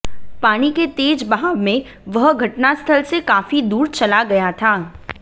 पानी के तेज बहाव में वह घटनास्थल से काफी दूर चला गया था